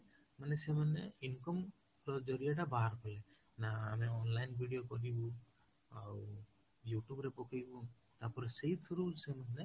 ମାନେ ସେମାନେ income ଟା ବାହାର କଲେ ନା ଆମେ online video କରିବୁ ଆଉ YouTube ରେ ପକେଇବୁ ତାପରେ ସେଇଥୁରୁ ସେମାନେ